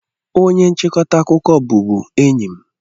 Onye nchịkọta akụkọ bụbu enyi m.